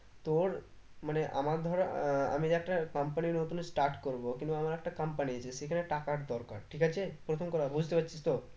তোর মানে আমার ধরো আহ আমি একটা company নতুন start করবো কিন্তু আমার একটা company আছে সেখানে টাকার দরকার ঠিক আছে প্রথম কথা বুঝতে পারছিস তো?